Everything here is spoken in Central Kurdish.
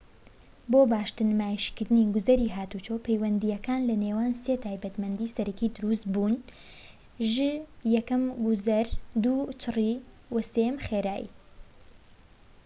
بۆ باشتر نمایشکردنی گوزەری هاتووچۆ، پەیوەندیەكان لە نێوان سێ تایبەتمەندی سەرەكی دروست بووەژ: 1 گوزەر، 2 چڕی، و 3 خێرایی